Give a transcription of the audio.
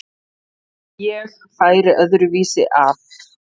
Ég færi öðru vísi að.